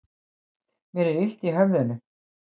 Mér er illt í höfðinu.